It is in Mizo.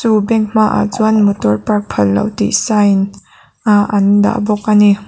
chu bank hmaah chuan motor park phalloh tih sign ah an dah bawk a ni.